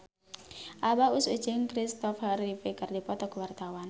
Abah Us Us jeung Kristopher Reeve keur dipoto ku wartawan